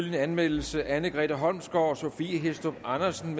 anmeldelse anne grete holmsgaard og sophie hæstorp andersen